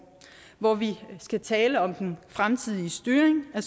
hvor vi skal tale om den fremtidige styring af